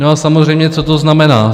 No a samozřejmě co to znamená?